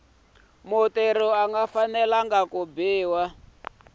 mutirhi a nga fanelanga ku